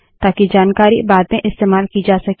ताकि जानकारी बाद में इस्तेमाल की जा सके